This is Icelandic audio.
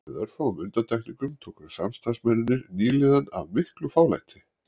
Með örfáum undantekningum tóku samstarfsmennirnir nýliðanum af miklu fálæti